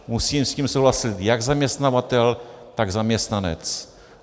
Musí s tím souhlasit jak zaměstnavatel, tak zaměstnanec.